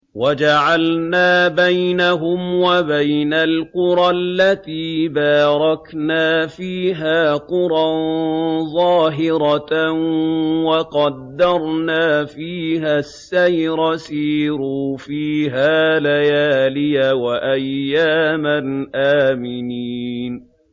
وَجَعَلْنَا بَيْنَهُمْ وَبَيْنَ الْقُرَى الَّتِي بَارَكْنَا فِيهَا قُرًى ظَاهِرَةً وَقَدَّرْنَا فِيهَا السَّيْرَ ۖ سِيرُوا فِيهَا لَيَالِيَ وَأَيَّامًا آمِنِينَ